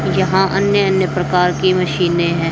यहां अन्य अन्य प्रकार के मशीने हैं।